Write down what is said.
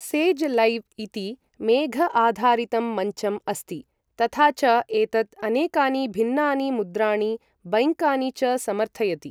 Says Live इति मेघ आधारितं मञ्चम् अस्ति, तथा च एतत् अनेकानि भिन्नानि मुद्राणि, बैंकानि च समर्थयति ।